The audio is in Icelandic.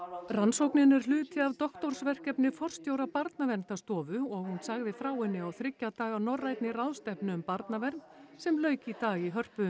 rannsóknin er hluti af doktorsverkefni forstjóra Barnaverndarstofu og hún sagði frá henni á þriggja daga norrænni ráðstefnu um barnavernd sem lauk í dag í Hörpu